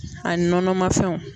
Ani nɔnɔmafɛnw.